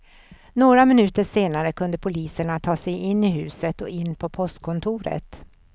Några minuter senare kunde poliserna ta sig in i huset och in på postkontoret.